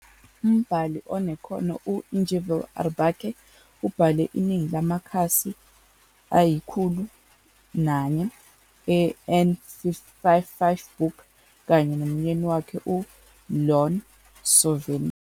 Umbhali onekhono, u-Ingvil Aarbakke ubhale iningi lamakhasi angama-400 eN55 Book kanye nomyeni wakhe u-Ion Sørvin.